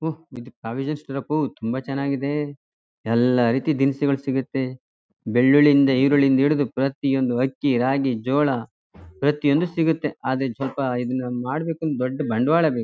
ಓ ಇದು provision store ಅಪೋ ತುಂಬಾ ಚನ್ನಾಗಿದೆ. ಎಲ್ಲ ರೀತಿ ದಿನಸಿಗಳ್ ಸಿಗುತ್ತೆ. ಬೆಳ್ಳುಳ್ಳಿ ಇಂದ ಇರುಳಿ ಇಂದ ಹಿಡಿದು ಪ್ರತಿ ಒಂದು ಅಕ್ಕಿ ರಾಗಿ ಜೋಳ ಪ್ರತಿ ಒಂದು ಸಿಗುತ್ತೆ. ಆದ್ರೆ ಸ್ವಲ್ಪ ಇದ್ನ ಮಾಡಬೇಕು ಅಂದ್ರೆ ದೊಡ್ಡ್ ಬಂಡವಾಳ ಬೇಕು .